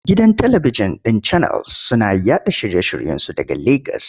Gidan talibikjin ɗin Channels suna yaɗa shirye-shiryensu daga Legas.